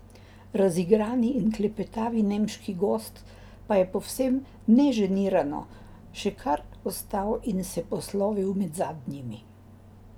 Razigrani in klepetavi nemški gost pa je povsem neženirano še kar ostal in se poslovil med zadnjimi.